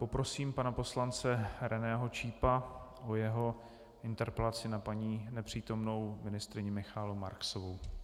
Poprosím pana poslance Reného Čípa o jeho interpelaci na paní nepřítomnou ministryni Michaelu Marksovou.